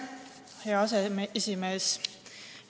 Hea aseesimees!